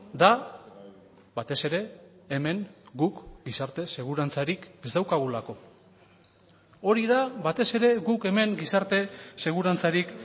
da batez ere hemen guk gizarte segurantzarik ez daukagulako hori da batez ere guk hemen gizarte segurantzarik